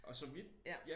Og så mit ja